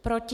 Proti?